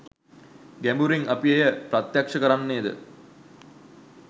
ගැඹුරින් අප එය ප්‍රත්‍යක්ෂ කරන්නේද?